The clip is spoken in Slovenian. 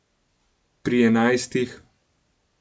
Pri enajstih ...